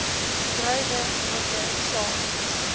druiwe neute saad